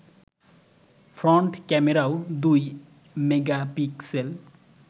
front ক্যামেরাও দুই megapixel